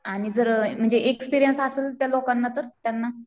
आणि जर एक्सपिरियन्स असेल त्या लोकांना तर त्यांना?